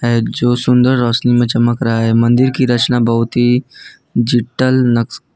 जो सुंदर रोशनी में चमक रहा है मंदिर की रचना बहुत ही जिटल नक्श।